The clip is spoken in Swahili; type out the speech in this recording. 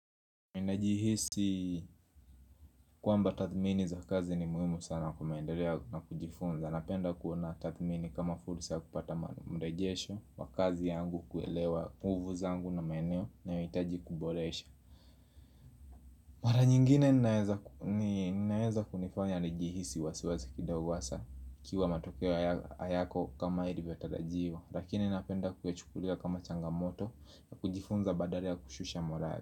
Ninajihisi kwamba tathmini za kazi ni muhimu sana kwa maendeleo na kujifunza Napenda kuona tathmini kama fursa ya kupata mrejesho wakazi yangu kuelewa puvu zangu na maeneo na yanayohitaji kuboresha Mara nyingine ninaeza kunifanya nijihisi wasiwasi kidogo hasa ikiwa matokeo hayako kama ilivyo tarajiwa Lakini napenda kuyachukulia kama changamoto na kujifunza badala kushusha morali.